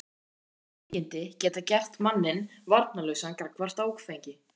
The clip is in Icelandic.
Líkamleg veikindi geta gert manninn varnarlausan gagnvart áfengi.